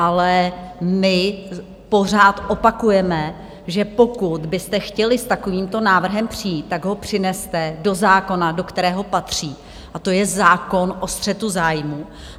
Ale my pořád opakujeme, že pokud byste chtěli s takovýmto návrhem přijít, tak ho přineste do zákona, do kterého patří, a to je zákon o střetu zájmu.